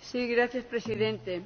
Señor Presidente,